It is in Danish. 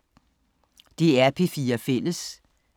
DR P4 Fælles